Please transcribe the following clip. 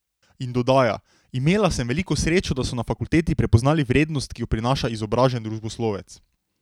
In dodaja: "Imela sem veliko srečo, da so na fakulteti prepoznali vrednost, ki jo prinaša izobražen družboslovec.